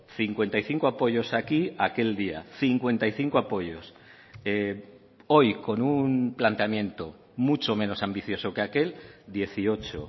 cincuenta y cinco apoyos aquí aquel día cincuenta y cinco apoyos hoy con un planteamiento mucho menos ambicioso que aquel dieciocho